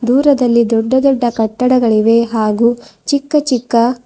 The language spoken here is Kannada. ದೂರದಲ್ಲಿ ದೊಡ್ಡ ದೊಡ್ಡ ಕಟ್ಟಡಗಳಿವೆ ಹಾಗೂ ಚಿಕ್ಕ ಚಿಕ್ಕ--